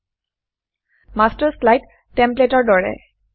master slide master slide টেমপ্লেটৰ দৰে